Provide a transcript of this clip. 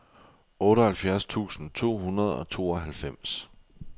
otteoghalvfjerds tusind to hundrede og tooghalvfems